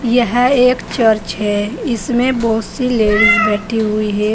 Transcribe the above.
यह एक चर्च है इसमें बहोत सी लेडिस बैठी हुई है।